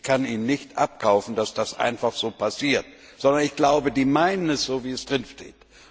Ich kann ihnen nicht abkaufen, dass das einfach so passiert, sondern ich glaube, sie meinen es so, wie es drinsteht.